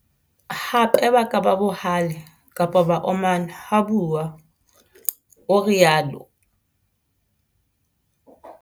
Hape ba ka ba bohale kapa ba omana ha bua, o rialo.